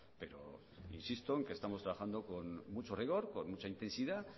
pero insisto en que estamos trabajando con mucho rigor con mucha intensidad